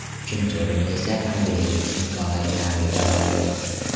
Uchinchi o‘rinni esa angrenlik Nikolay Nam egalladi.